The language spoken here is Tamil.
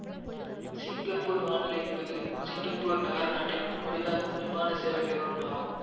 சிங்கப்பூர் வான்வழி என்பது சிங்கப்பூர் நகரநாட்டின் கொடி தாங்கும் விமான சேவை நிறுவனம் ஆகும்